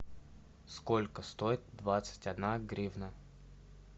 сколько стоит двадцать одна гривна